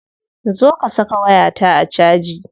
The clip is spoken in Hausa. Zo ka saka wayata a caji.